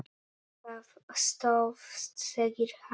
Það stóðst, segir hann.